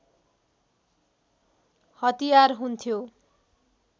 हतियार हुन्थ्यो